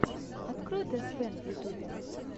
открой тэсфэн в ютюбе